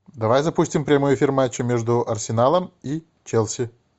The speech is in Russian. давай запустим прямой эфир матча между арсеналом и челси